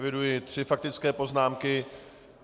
Eviduji tři faktické poznámky.